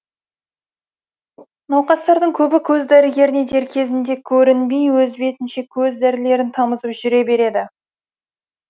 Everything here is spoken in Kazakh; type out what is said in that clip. науқастардың көбі көз дәрігеріне дер кезінде көрінбей өз бетінше көз дәрілерін тамызып жүре береді